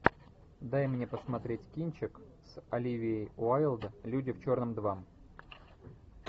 дай мне посмотреть кинчик с оливией уайлд люди в черном два